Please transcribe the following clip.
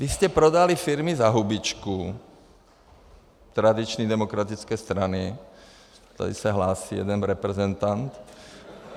Vy jste prodali firmy za hubičku, tradiční demokratické strany - tady se hlásí jeden reprezentant.